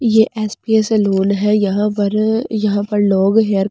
ये S B A salon है यहाँ पर अ यहाँ पर लोग हेयर कटिंग --